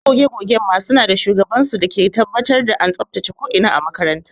Masu goge goge ma suna da shugaban su dake tabbatar da an tsabtace ko ina na makaranta.